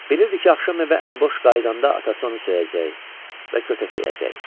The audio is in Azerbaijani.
Bilirdi ki, axşam evə əliboş qayıdanda atası onu söyəcək və kötəkləyəcək.